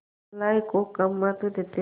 भलाई को कम महत्व देते हैं